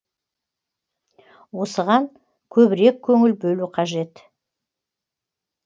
осыған көбірек көңіл бөлу қажет